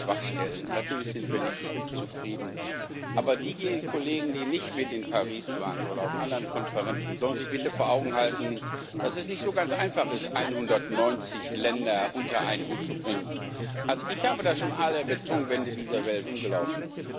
Natürlich gibt es Schwachstellen, natürlich sind wir nicht zufrieden. Aber die Kollegen, die nicht mit in Paris waren oder auf anderen Konferenzen, sollen sich bitte vor Augen halten, dass es nicht so ganz einfach ist, 190 Länder unter einen Hut zu bringen. Ich habe da schon alle Betonwände dieser Welt umgelaufen.